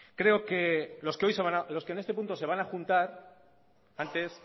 creo que los que en este punto se van a juntar antes